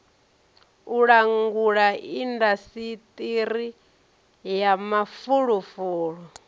u langula indasiṱiri ya mafulufulu